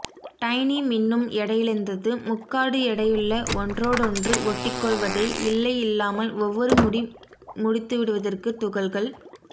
tiny மின்னும் எடையிழந்தது முக்காடு எடையுள்ள ஒன்றோடொன்று ஒட்டிக்கொள்வதைத் இல்லை இல்லாமல் ஒவ்வொரு முடி முடித்துவிடுவதற்கு துகள்கள்